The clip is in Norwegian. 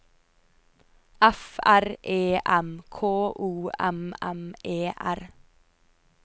F R E M K O M M E R